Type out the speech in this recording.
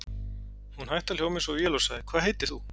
Hún hætti að hljóma eins og vél og sagði: Og hvað heitir þú?